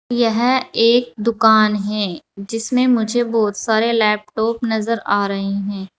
यह एक दुकान है जिसमे मुझे बहोत सारे लैपटॉप नजर आ रहे है।